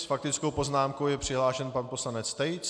S faktickou poznámkou je přihlášen pan poslanec Tejc.